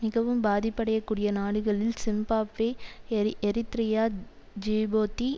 மிகவும் பாதிப்படையக் கூடிய நாடுகளில் சிம்பாப்வே எரிஎரித்ரியா த்ஜிபோத்தி